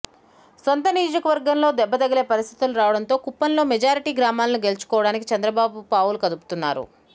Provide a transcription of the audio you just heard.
సొంత నియోజకవర్గంలో దెబ్బ తగిలే పరిస్థితులు రావడంతో కుప్పంలో మెజారిటీ గ్రామాలను గెలుచుకోవడానికి చంద్రబాబు పావులు కదుపుతున్నారు